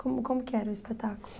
Como como que era o espetáculo?